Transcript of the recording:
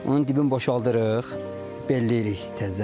Onun dibin boşaldırıq, belləyirik təzədən.